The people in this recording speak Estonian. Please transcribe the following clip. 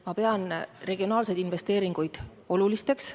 Ma pean regionaalseid investeeringuid oluliseks.